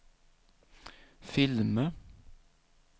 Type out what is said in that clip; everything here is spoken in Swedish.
filmer